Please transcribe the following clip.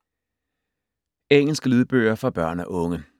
Engelske lydbøger for børn og unge